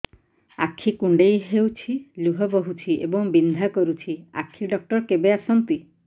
ଆଖି କୁଣ୍ଡେଇ ହେଉଛି ଲୁହ ବହୁଛି ଏବଂ ବିନ୍ଧା କରୁଛି ଆଖି ଡକ୍ଟର କେବେ ଆସନ୍ତି